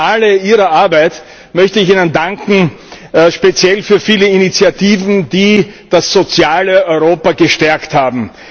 Im Finale Ihrer Arbeit möchte ich Ihnen danken, speziell für viele Initiativen, die das soziale Europa gestärkt haben.